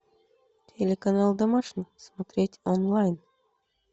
телеканал домашний смотреть онлайн